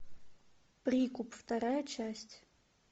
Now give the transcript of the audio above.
прикуп вторая часть